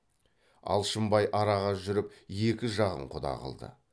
алшынбай араға жүріп екі жағын құда қылды